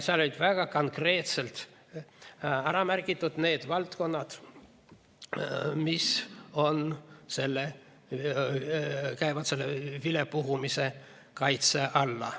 Seal olid väga konkreetselt ära märgitud need valdkonnad, mis käivad selle vilepuhumise kaitse alla.